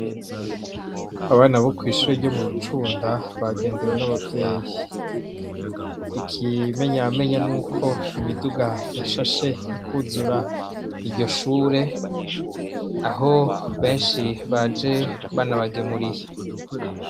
Abana bo kw'ishure ryo mu Rucunda bagendewe n'abavyeyi. Ikimenyamenya ni uko imiduga yashashe ikuzura iryo shure, aho benshi baje baje banabagemuriye.